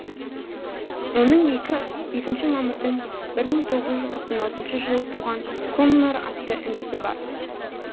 оның екінші мамырдың бір мың тоғыз жүз тоқсан алтыншы жылы туған коннор атты інісі бар